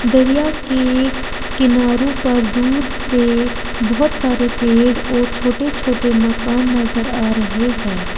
दरिया के किनारों पर दूर से बोहोत सारे पेड़ और छोटे छोटे मकान नजर आ रहे हैं।